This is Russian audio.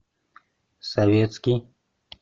советский